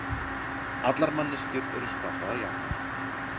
Allar manneskjur eru skapaðar jafnar